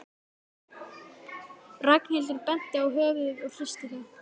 Ragnhildur benti á höfuðið og hristi það.